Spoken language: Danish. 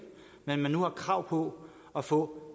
men at man nu har krav på at få